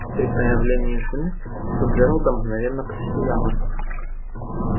при появлении жены лицо джералда мгновенно просияло